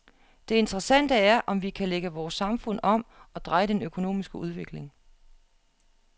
Det interessante er, om vi kan lægge vores samfund om og dreje den økonomiske udvikling.